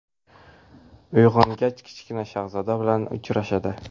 Uyg‘ongach, Kichkina shahzoda bilan uchrashadi.